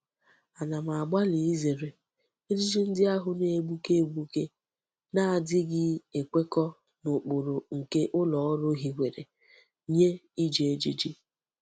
Ana m agbali izere ejiji ndi ahu na-egbuke egbuke na-agaghi ekweko n'ukpuru nke uloru hiwara nye Iji ejiji.